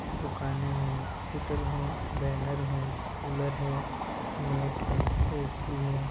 दुकाने है हॉस्पिटल है कुलार है बेनर है मेट है ए_सी है।